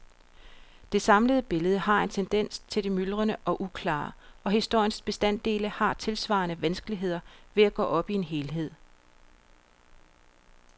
Det samlede billede har en tendens til det myldrende og uklare, og historiens bestanddele har tilsvarende vanskeligheder ved at gå op i en helhed.